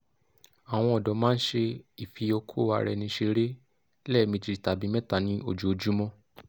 awọn ọdọ ma n ṣe ifiokoaraenisere lẹmeji tabi mẹta ni ojoojumo